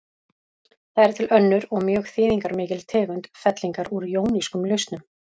Það er til önnur og mjög þýðingarmikil tegund fellingar úr jónískum lausnum.